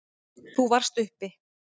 Þú varst uppi.